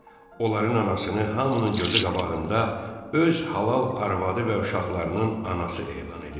Onların anasını hamının gözü qabağında öz halal arvadı və uşaqlarının anası elan edir.